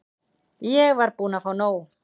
Ég var búin að fá nóg.